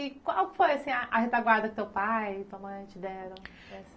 E qual foi a retaguarda que teu pai e tua mãe te deram?